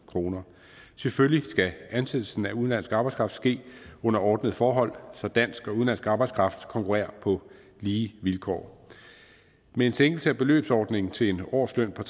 kroner selvfølgelig skal ansættelsen af udenlandsk arbejdskraft ske under ordnede forhold så dansk og udenlandsk arbejdskraft konkurrerer på lige vilkår med en sænkelse af beløbsordningen til en årsløn på